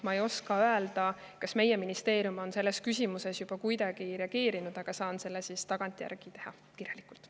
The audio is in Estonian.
Ma ei oska öelda, kas meie ministeerium on selles küsimuses juba kuidagi reageerinud, aga saan sellele tagantjärgi vastata kirjalikult.